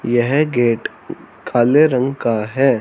यह गेट काले रंग का है।